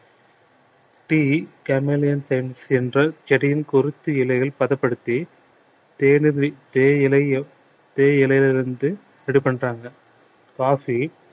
tea commellion என்ற செடியின் கொருத்தி இலைகள் பதப்படுத்தி தேயிலையில இருந்து ready பண்றாங்க coffee